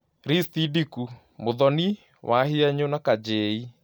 Risti ndĩku: Mũthoni, wahianyũ na kajei